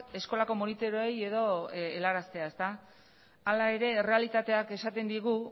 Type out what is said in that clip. eskolako monitoreei helaraztea hala ere errealitateak esaten digu